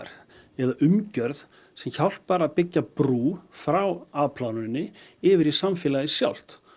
eða umgjörð sem hjálpar að byggja brú frá afplánuninni yfir í samfélagið sjálft